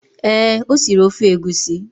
Ee, o siri ofe egusi